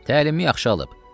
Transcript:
Təlimi yaxşı alıb.